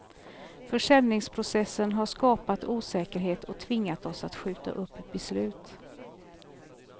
Försäljningsprocessen har skapat osäkerhet och tvingat oss att skjuta upp beslut.